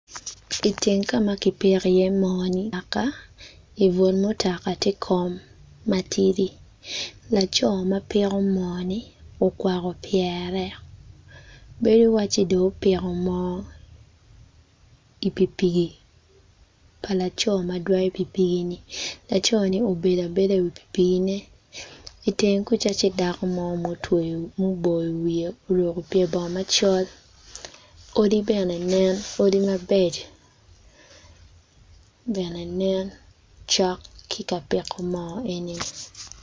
Iteng ka ma kipiko iye mo mutoka, ibut mutaka tye kom matidi laco ma piko moo-ni okwako pyere bedo waci dong opiko moo i pikipiki pa laco madwoyo pikipiki ni laco ni obedo abeda iwi pikipiki ne iteng kwica tye dako mo ma otweyo wiye oruko pye bongo macol odi bene nen odi mabeco bene nen cok ki ka piko mo eni